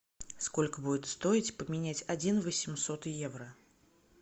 сколько будет стоить поменять один восемьсот евро